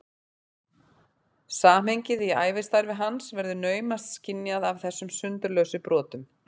Samhengið í ævistarfi hans verður naumast skynjað af þessum sundurlausu brotum.